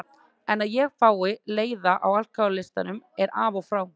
En að ég fái leiða á alkohólistum er af og frá.